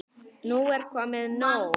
Nú er komið nóg!